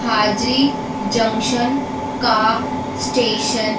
हाजिरी जंक्शन का स्टेशन --